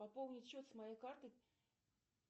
пополнить счет с моей карты